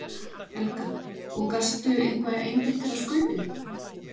Helga: Og gastu eitthvað einbeitt þér að Skaupinu?